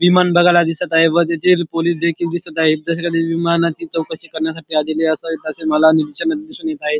विमान बगायला दिसत आहे व तिथे पोलिस देखील दिसत आहेत तसेच विमानाची चौकशी करण्यासाठी आलेले असावेत असे मला निर्दशनात दिसून येत आहे.